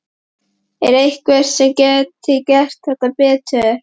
Er einhver sem gæti gert þetta betur?